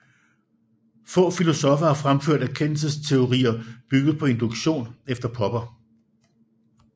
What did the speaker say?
Få filosoffer har fremført erkendelsesteorier bygget på induktion efter Popper